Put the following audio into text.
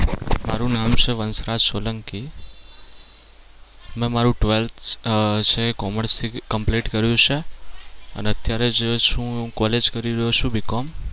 મારુ નામ છે વંશરાજ સોલંકી. મે મારુ twelfth commerce complete કર્યું છે અને અત્યારે જે છે એ હું college કરી રહ્યો છું BCOM